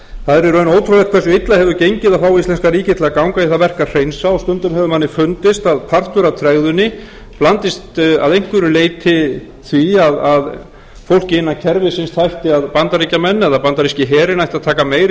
það er í rauninni ótrúlegt hversu illa hefur gengið að fá íslenska ríkið til að ganga í það verk að hreinsa og stundum hefur manni fundist að partur af tregðunni blandist að einhverju leyti því að fólkið innan kerfisins bandaríkjamenn eða bandaríski herinn ætti að taka meiri